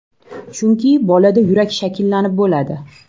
Chunki bolada yurak shakllanib bo‘ladi.